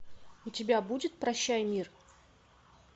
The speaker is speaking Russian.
у тебя будет прощай мир